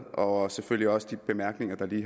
og selvfølgelig også de bemærkninger der lige